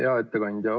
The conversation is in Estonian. Hea ettekandja!